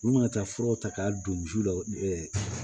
U mana taa furaw ta k'a don jiw la